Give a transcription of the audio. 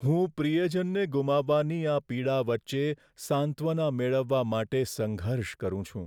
હું પ્રિયજનને ગુમાવવાની આ પીડા વચ્ચે સાંત્વના મેળવવા માટે સંઘર્ષ કરું છું.